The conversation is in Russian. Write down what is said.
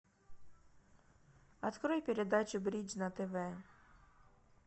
открой передачу бридж на тв